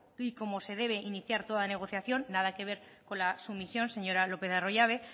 como se debe iniciar toda negociación nada que ver con la sumisión señora lópez de arroyabe